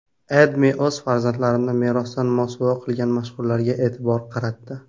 AdMe o‘z farzandlarini merosdan mosuvo qilgan mashhurlarga e’tibor qaratdi .